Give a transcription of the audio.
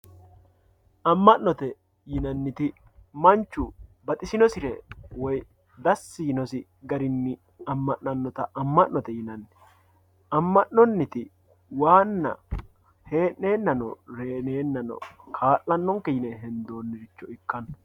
amma'note yinanniti manchu baxisinosire woyi dassi yiinosi garinni amm'nannota ama'note yinanni amma'noniti waana he'neenano reeneenano ka'lanonke yine hendooniricho ikkanno.